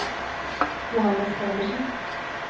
Johannes Pedersen